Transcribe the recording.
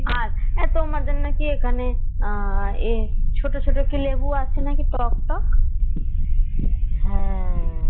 আচ্ছা তোমাদের নাকি এখানে আহ এ ছোট ছোট কি লেবু আছে নাকি টক টক